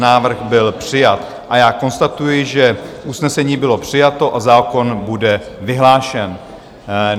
Návrh byl přijat a já konstatuji, že usnesení bylo přijato a zákon bude vyhlášen.